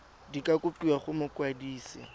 di ka kopiwa go mokwadise